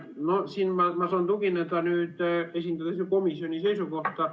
No siin ma saan esindada komisjoni seisukohta.